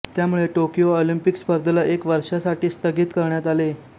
त्यामुळे Tokyo Olympic स्पर्धेला एक वर्षासाठी स्थगित करण्यात आले